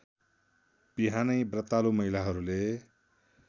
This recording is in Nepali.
बिहानै व्रतालु महिलाहरूले